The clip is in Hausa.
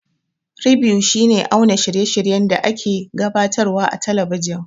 Ribew shi ne auna shirye shiryen da a ke gabatar wa a talabijan